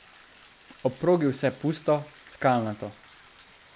Ob progi vse pusto, skalnato.